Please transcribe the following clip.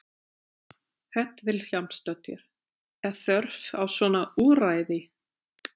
Hödd Vilhjálmsdóttir: Er þörf á svona úrræði?